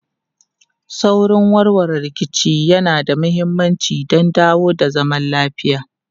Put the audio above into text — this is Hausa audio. Saurin warware rikici yana da mahimmanci don dawo da zaman lafiya.